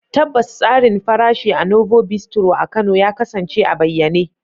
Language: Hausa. Tabbas, tsarin farashi a Novo Bistro a Kano ya kasance a bayyane.